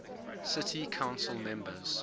city council members